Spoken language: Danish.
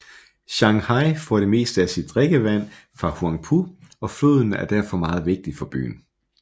Shanghai får det meste af sit drikkevand fra Huangpu og floden er derfor meget vigtig for byen